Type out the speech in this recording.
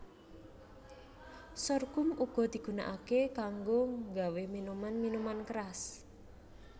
Sorghum uga digunakaké kanggo nggawé minuman minuman keras